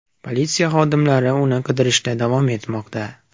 Politsiya xodimlari uni qidirishda davom etmoqda.